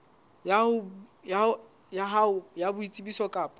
ya hao ya boitsebiso kapa